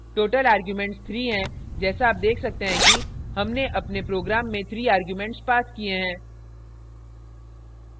total arguments 3 हैं जैसा आप देख सकते हैं कि हमने अपने program में 3 arguments passed किये हैं